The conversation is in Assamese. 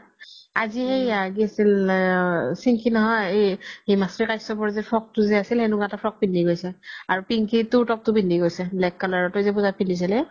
আজি সেইয়া শিন্খি নহয় এই হিমাশ্ৰী খাশ্যাপৰ যে frock তো যে আছিল সেনেকুৱা এটা frock পিন্ধি গৈছে আৰু পিন্কি তুৰ ত্পতো পিন্ধি গৈছে black color তই যে পুজাত পিন্ধিছিলি